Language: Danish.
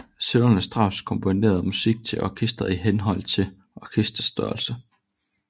Sønnerne Strauss komponerede musik til orkesteret i henhold til orkesterets størrelse